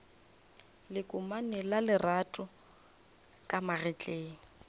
lekomane la lerato ka magetleng